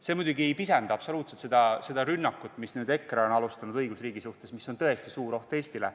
See muidugi ei pisenda absoluutselt seda rünnakut, mida nüüd EKRE on alustanud õigusriigi suhtes ja mis on tõesti suur oht Eestile.